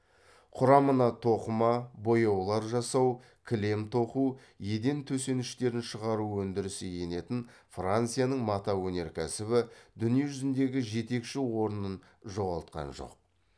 құрамына тоқыма бояулар жасау кілем тоқу еден төсеніштерін шығару өндірісі енетін францияның мата өнеркәсібі дүние жүзіндегі жетекші орнын жоғалтқан жоқ